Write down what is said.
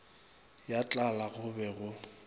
ya tlala go be go